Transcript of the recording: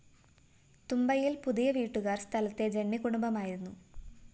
തുമ്പയില്‍ പുതിയ വീട്ടുകാര്‍ സ്ഥലത്തെ ജന്മികുടുംബമായിരുന്നു